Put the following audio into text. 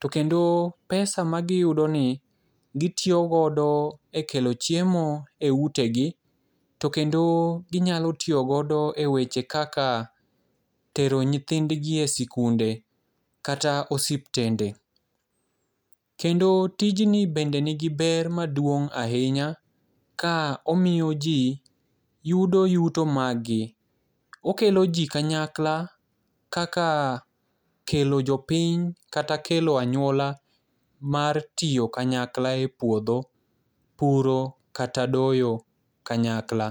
To kendo pesa magiyudo ni gitiyo godo e kelo chiemo eutegi to kendo ginyalo tiyo godo eweche kaka tero nyithindgi e sikunde kata osiptende. Kendo tijni bende nigi ber maduong' ahinya ka omiyoji yudo yuto margi. Okeloji kanyakla kaka kelo piny kata kelo anyuola mar tiyo kayakla e puodho, puro kata doyo kanyakla.